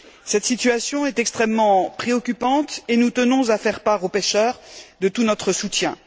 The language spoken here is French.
Cette situation est extrêmement préoccupante et nous tenons à faire part aux pêcheurs de tout notre soutien.